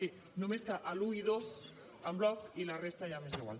sí només que l’un i dos en bloc i la resta ja m’és igual